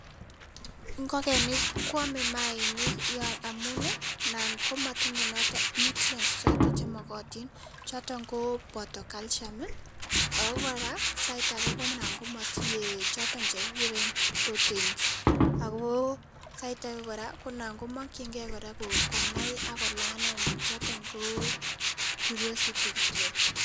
Ingokenik koame mayainik amun ngap matinyei noto nutrients chemakatin choton koboto calcium ako kora sait ake ko mara komatinyei choto chekikuren proteins ako sait ake kora konam komakchinkei konai ako lanen chotok ko curiosity kityo.